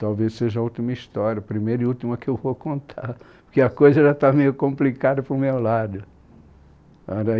Talvez seja a última história, a primeira e última que eu vou contar, porque a coisa já está meio complicada para o meu lado, a